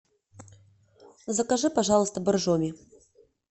закажи пожалуйста боржоми